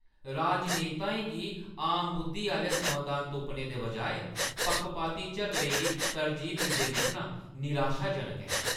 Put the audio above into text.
राजनेताएं गी आम बुद्धी आह्‌ले समाधान तुप्पने दे बजाए पक्खपाती झगड़ें गी तरजीह् दिंदे दिक्खना निराशाजनक ऐ।